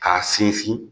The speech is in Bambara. K'a sinsin